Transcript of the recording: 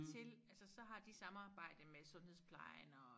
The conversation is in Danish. Til altså så har de samarbejde med sundhedsplejen og